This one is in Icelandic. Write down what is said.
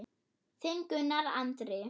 Þinn Gunnar Andri.